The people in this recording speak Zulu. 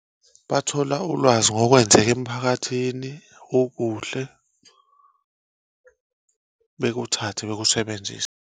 Bathola ulwazi ngokwenzeka emiphakathini okuhle bekuthathe bekusebenzise.